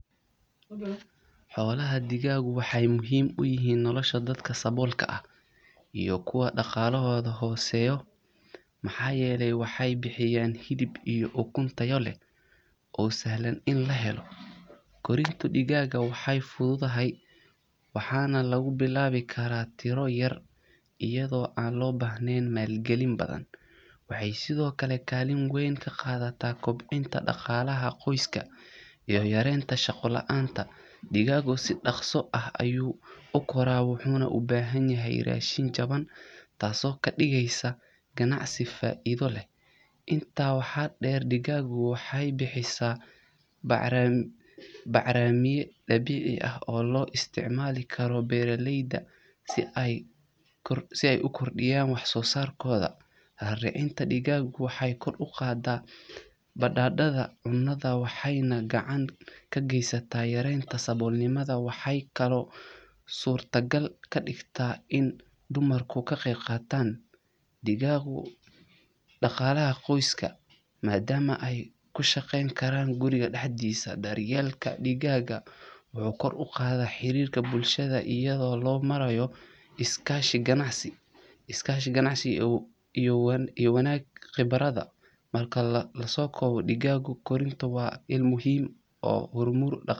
Xolaha digagu waxee muhiim uyahan noloshaa dadka sabolka ah iyo kuwa daqalahoda hoseyo maxaa yele waxee bixiyan hilib iyo ukun tayo leh oo sahlan in la helo korinta digagu waxee fusud tahay ona lagu bilawi karaa tiro yar, wuxuna ubahan yahay rashin jawan taso oo kadigesa gabacsi faidho leh, waxee kalo surta gal kadigta in dumarku ka qeb qatan digagu daqalaha qoyska madama digaga wuxuu kor uqadhaya xirika bulshaada iyada oo lo maraya korinta digagu waa muhiim.